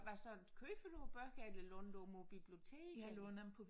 Hvad så køber du bøger eller låner du dem på biblioteket eller?